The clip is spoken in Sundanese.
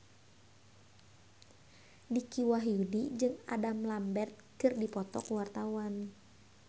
Dicky Wahyudi jeung Adam Lambert keur dipoto ku wartawan